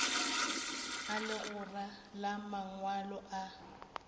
a legora la mangwalo a